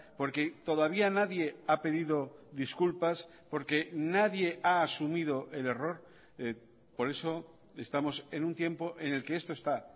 porque todavía nadie ha pedido disculpas porque nadie ha asumido el error por eso estamos en un tiempo en el que esto está